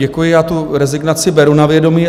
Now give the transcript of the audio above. Děkuji, já tu rezignaci beru na vědomí.